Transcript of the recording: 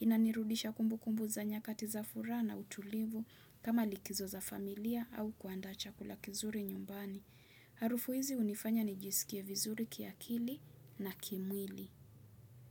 Inanirudisha kumbukumbu za nyakati za furaha na utulivu kama likizo za familia au kuandaa chakula kizuri nyumbani. Harufu hizi hunifanya nijisikie vizuri kiakili na kimwili.